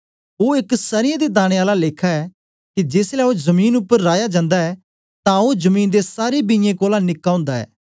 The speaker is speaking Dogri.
ओ एक सर्यें दे दाने आला लेखा ऐ के जेसलै ओ जमीन उपर राया जन्दा ऐ तां ओ जमीन दे सारे बियें कोलां निक्का ओंदा ऐ